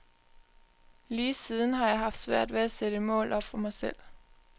Lige siden har jeg haft svært ved at sætte mål op for mig selv.